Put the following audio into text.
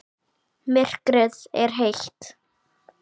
Myrkrið er heitt.